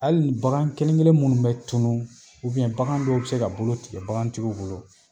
Ali bagan kelenkelen minnu be tunu ubɛn bagan dɔw be se ka bolo tigɛ bagantigiw bolo